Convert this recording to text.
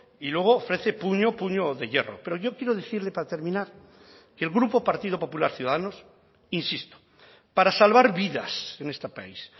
y luego ofrece puño puño de hierro pero yo quiero decirle para terminar que el grupo partido popular ciudadanos insisto para salvar vidas en este país